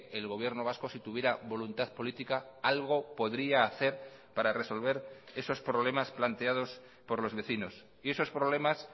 el gobierno vasco si tuviera voluntad política algo podría hacer para resolver esos problemas planteados por los vecinos y esos problemas